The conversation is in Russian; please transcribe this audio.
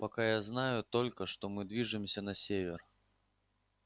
пока я знаю только что мы движемся на север